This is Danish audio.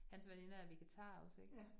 Hans veninder er vegetarer også ik